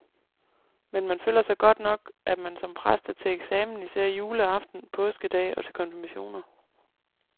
Men man føler godt nok, at man som præst er til eksamen især juleaften, påskedag og til konfirmationer.